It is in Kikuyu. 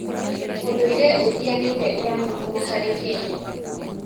ũndũire ũtiganĩte ũranyitana harĩ kenya.